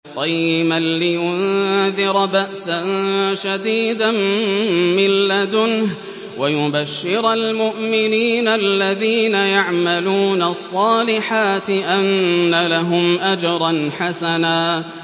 قَيِّمًا لِّيُنذِرَ بَأْسًا شَدِيدًا مِّن لَّدُنْهُ وَيُبَشِّرَ الْمُؤْمِنِينَ الَّذِينَ يَعْمَلُونَ الصَّالِحَاتِ أَنَّ لَهُمْ أَجْرًا حَسَنًا